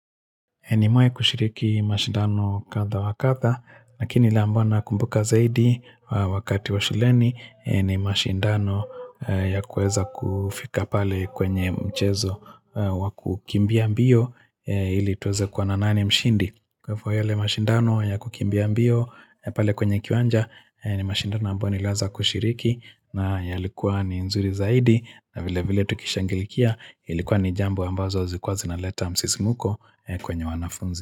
Nimewahi kushiriki mashindano kadha wa kadha, lakini ile ambayo nakumbuka zaidi wakati wa shuleni ni mashindano ya kuweza kufika pale kwenye mchezo wa kukimbia mbio ili tuweze kuona nani mshindi. Kwa hivyo yale mashindano ya kukimbia mbio pale kwenye kiwanja ni mashindano ambayo niliweza kushiriki na yalikuwa ni nzuri zaidi na vile vile tukishangilikia ilikuwa ni jambo ambazo zikuwa zinaleta msisimuko kwenye wanafunzi.